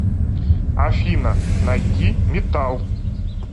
афина найди метал